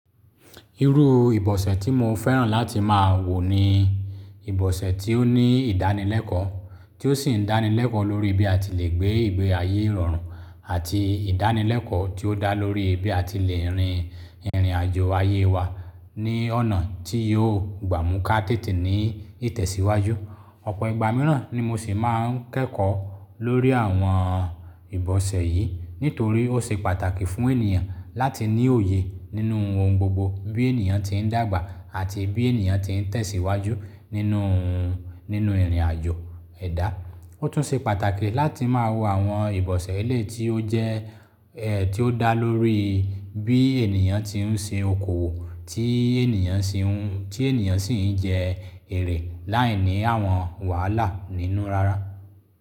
Irú ìbọ̀sẹ̀ tí mo fẹ́ràn láti máa wò ni ìbọ̀sẹ̀ tí ó ní ìdánilẹ́kọ̀ọ́, tí ó sì ń dánilẹ́kọ̀ọ́ lórí bí a ti le gbé ìgbé ayé ìrọ̀rùn àti ìdánilẹ́kọ̀ọ́ tí ó dá lórí bí a ti le rin ìrìn-àjò ayé wa ní ọ̀nà tí yóò gbà mú ká tètè ní ìtẹ̀síwájú. Ọ̀pọ̀ ìgbà mìíràn ni mo sì máa ń kẹ́kọ̀ọ́ lórí àwọn ìbọ̀sẹ̀ yìí nítorí ó ṣe pàtàkì fún ènìyàn láti ní òye nínú ohun gbogbo bí ènìyàn tí ń dàgbà àti bí ènìyàn tí ń tẹ̀síwájú nínú, nínú ìrìn-àjò ẹ̀dá. Ó tún ṣe pàtàkì láti máa wo àwọn ìbọ̀sẹ̀ eléyìí tí ó jẹ́ tí ó dá lórí bí ènìyàn tí ń ṣe okòwò, tí ènìyàn ṣe ń, tí ènìyàn sì ń jẹ èrè láìní àwọn wàhálà nínú rárá.